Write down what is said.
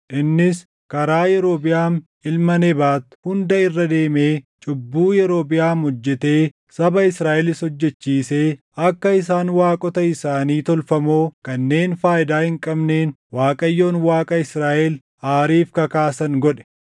Innis karaa Yerobiʼaam ilma Nebaat hunda irra deemee cubbuu Yerobiʼaam hojjetee saba Israaʼelis hojjechiisee akka isaan waaqota isaanii tolfamoo kanneen faayidaa hin qabneen Waaqayyoon Waaqa Israaʼel aariif kakaasan godhe.